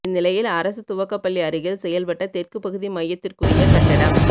இந்நிலையில் அரசு துவக்கப்பள்ளி அருகில் செயல்பட்ட தெற்கு பகுதி மையத்திற்குரிய கட்டடம்